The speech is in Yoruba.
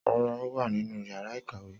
Rara, o wa ninu yara ikawe.